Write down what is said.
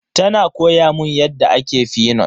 Tana koya mun yadda ake fenut.